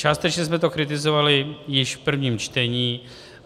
Částečně jsme to kritizovali již v prvním čtení.